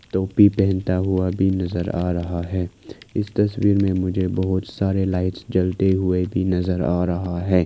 टोपी पहनता हुआ भी नजर आ रहा है इस तस्वीर में मुझे बहोत सारे लाइट्स जलते हुए भी नजर आ रहा है।